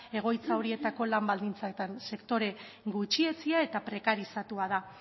egoitza horietako lan baldintzatan sektore gutxietsia eta prekarizatua da